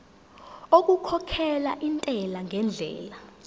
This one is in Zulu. okukhokhela intela ngendlela